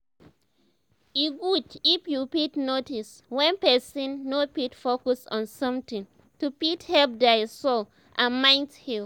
e good if you fit notice wen person no fit focus on something to fit help dia soul and mind heal